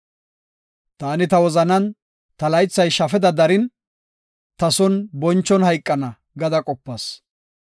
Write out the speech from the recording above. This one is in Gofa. Taani ta wozanan, “Ta laythay shafeda darin, ta son bonchon hayqana” gada qopas.